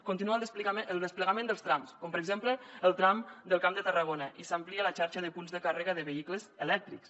continua el desplegament dels trams com per exemple el tram del camp de tarragona i s’amplia la xarxa de punts de càrrega de vehicles elèctrics